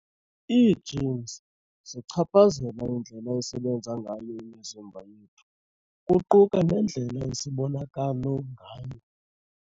Ii-genes zichaphazela indlela esebenza ngayo imizimba yethu, kuquka nendlela esibonakalo ngayo.